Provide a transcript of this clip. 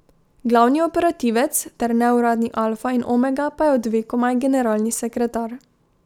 Glavni operativec ter neuradni alfa in omega pa je od vekomaj generalni sekretar.